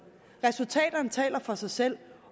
resultaterne taler for sig selv